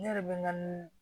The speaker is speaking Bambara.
Ne yɛrɛ bɛ n ka ni